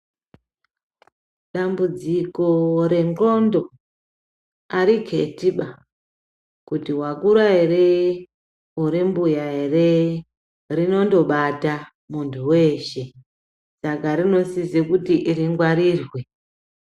Dambudziko rendxondo hariketiba, kuti wakura here, uri mbuya ere. Rinondobata muntu weshe, saka rinosise kuti ringwarirwe.